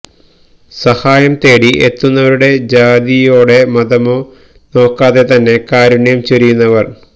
സഹായം തേടി എത്തുന്നവരുടെ ജാതിയോടെ മതമോ നോക്കാതെ തന്നെ കാരുണ്യം ചൊരിയുന്നവർ